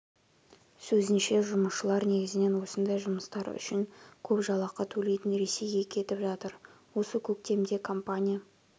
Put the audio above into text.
сөзінше жұмысшылар негізінен осындай жұмыстар үшін көп жалақы төлейтін ресейге кетіп жатыр осы көктемде компания